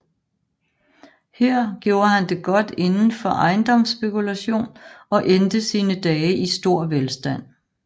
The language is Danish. Her gjorde han det godt inden for ejendomsspekulation og endte sine dage i stor velstand